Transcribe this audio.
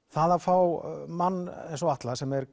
það að fá mann eins og Atla sem er